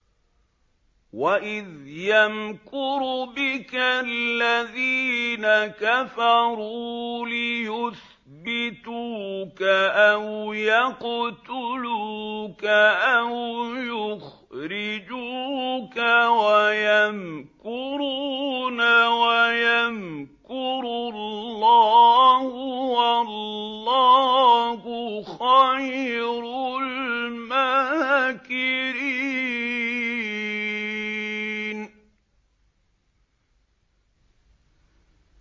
وَإِذْ يَمْكُرُ بِكَ الَّذِينَ كَفَرُوا لِيُثْبِتُوكَ أَوْ يَقْتُلُوكَ أَوْ يُخْرِجُوكَ ۚ وَيَمْكُرُونَ وَيَمْكُرُ اللَّهُ ۖ وَاللَّهُ خَيْرُ الْمَاكِرِينَ